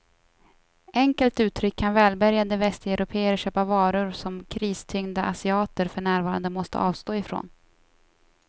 Enkelt uttryckt kan välbärgade västeuropéer köpa varor som kristyngda asiater för närvarande måste avstå ifrån.